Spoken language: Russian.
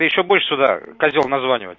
ты ещё будешь сюда козел названивать